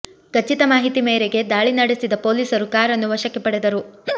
ಖಚಿತ ಮಾಹಿತಿ ಮೇರೆಗೆ ದಾಳಿ ನಡೆಸಿದ ಪೊಲೀಸರು ಕಾರನ್ನು ವಶಕ್ಕೆ ಪಡೆದರು